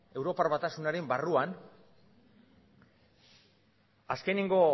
europar batasunaren barruan azkeneko